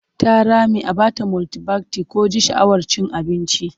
Ta rame a ba ta multibayit ko ji sha'awar cin abinci.